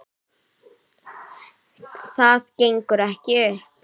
Það gengur ekki upp.